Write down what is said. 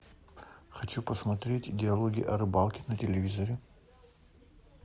хочу посмотреть диалоги о рыбалке на телевизоре